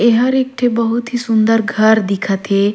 एहर एक ठी बहुत ही सुन्दर घर दिखा थे।